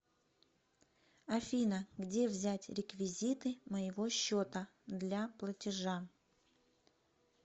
афина где взять реквизиты моего счета для платежа